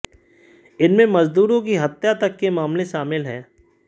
इनमें मजदूरों की हत्या तक के मामले शामिल हैं